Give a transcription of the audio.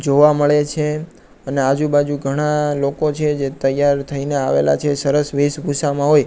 જોવા મળે છે અને આજુબાજુ ઘણા લોકો છે જે તૈયાર થઈને આવેલા છે સરસ વેસભૂષામાં હોય--